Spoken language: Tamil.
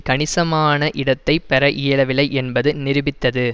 கணிசமான இடத்தை பெற இயலவில்லை என்பதை நிருபித்தது